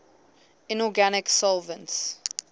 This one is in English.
inorganic solvents